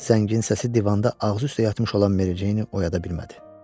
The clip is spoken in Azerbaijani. Zəngin səsi divanda ağzı üstə yatmış olan Mericeyni oyada bilmədi.